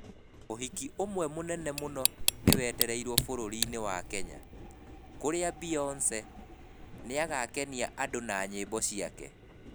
Ũhiki ũmwe mũnene mũno nĩwetereirwo bũrũri-inĩ wa Kenya, kurĩa Beyonce, nĩagakenia andũ na nyĩmbo ciake.